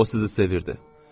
O sizi sevirdi.